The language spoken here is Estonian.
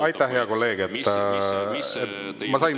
Aitäh, hea kolleeg!